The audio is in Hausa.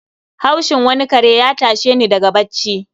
Haushin wani kare ya tashe ni daga bacci.